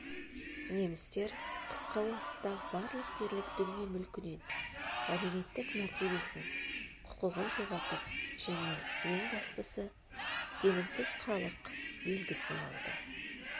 немістер қысқа уақытта барлық дерлік дүние-мүлкінен әлеуметтік мәртебесін құқығын жоғалтып және ең бастысы сенімсіз халық белгісін алды